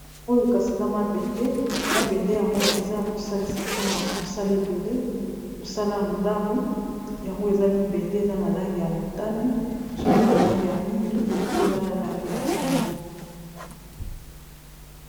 Oyo kasi eza mabende, mabende yango eza kosalisa mpona mosala ebele mosala ya ndako yango eza libende eza na langi ya motane mosusu eza na langi ya mwindu mosusu eza na langi neti ya mbwe.